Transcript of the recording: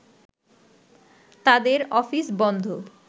তাদের অফিস বন্ধ